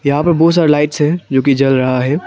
यहां पे बहोत सारे लाइट्स है जो कि जल रहा है।